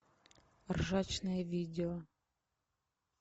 ржачные видео